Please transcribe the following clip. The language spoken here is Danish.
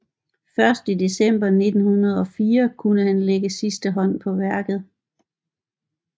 Først i december 1904 kunne han lægge sidste hånd på værket